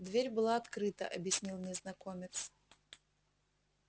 дверь была открыта объяснил незнакомец